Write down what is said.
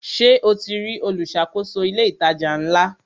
Ṣe o ti rí olùṣàkóso ilé ìtajà ńlá?